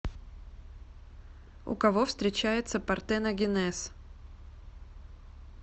у кого встречается партеногенез